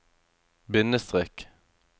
bindestrek